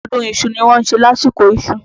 Ọdún iṣu ni wọ́n ń ṣe lásìkò iṣu.